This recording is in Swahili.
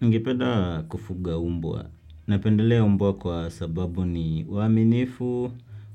Ningependa kufuga mbwa. Napendelea umbwa kwa sababu ni waaminifu,